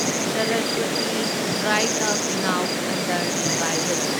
Saraswati dried up, now under revival